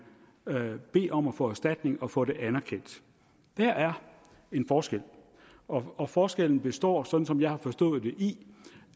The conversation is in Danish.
kan bede om at få erstatning og få det anerkendt der er en forskel og forskellen består sådan som jeg har forstået det i